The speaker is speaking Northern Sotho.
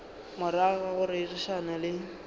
morago ga go rerišana le